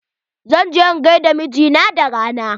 Zan je in gaida mijina da rana.